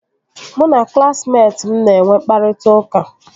Mụ na klaasịmetị m na-enwe mkpakọrịta